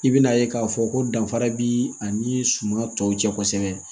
I bɛna ye k'a fɔ ko danfara bi ani suman tɔw cɛ kosɛbɛ